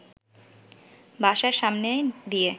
বাসার সামনে দিয়ে